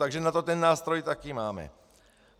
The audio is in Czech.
Takže na to ten nástroj taky máme.